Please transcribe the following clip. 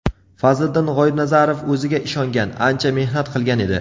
Fazliddin G‘oibnazarov o‘ziga ishongan, ancha mehnat qilgan edi.